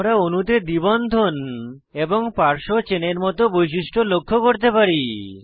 আমরা অণুতে দ্বি বন্ধন এবং পার্শ্ব চেনের মত বৈশিষ্ট্য লক্ষ্য করতে পারি